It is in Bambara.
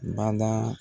Bada